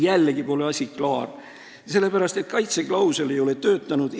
Jällegi pole asi klaar, sest kaitseklausel ei ole töötanud.